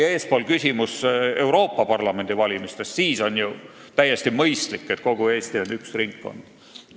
Eespool oli küsimus Euroopa Parlamendi valimise kohta – siis on ju täiesti mõistlik, et kogu Eesti on üks ringkond.